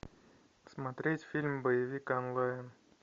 смотреть фильм боевик онлайн